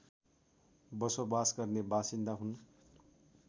बसोबास गर्ने बासिन्दा हुन्